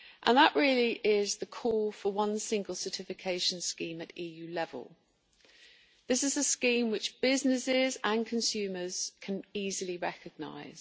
It is the call for one single certification scheme at EU level. This is a scheme which businesses and consumers can easily recognise.